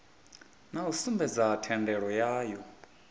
na u sumbedza thendelo yayo